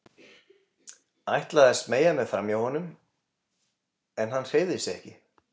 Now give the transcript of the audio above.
Ætlaði að smeygja mér framhjá honum en hann hreyfði sig ekki.